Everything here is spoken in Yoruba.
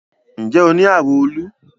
Nje o ni arun olu?